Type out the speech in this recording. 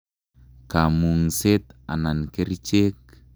Kamung'set anan kerichek?